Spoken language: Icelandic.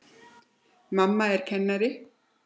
Mamma er kennari.